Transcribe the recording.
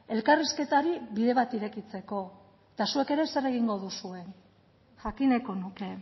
elkarrizketari bide bat irekitzeko eta zuek ere zer egingo duzuen jakin nahiko nuke